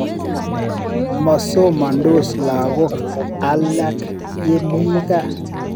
Masomandos lagok alake yemi kaa.